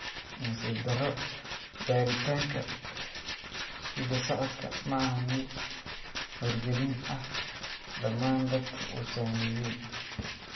Nasiib darro, baaritaanka hidda-socodka ma ahan mid wargelin ah dhammaan dadka uu saameeyay